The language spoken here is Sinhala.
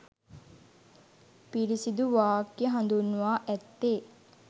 පිරිසිදු වාක්‍ය හඳුන්වා ඇත්තේ